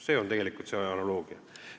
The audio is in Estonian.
See on tegelikult see analoogia.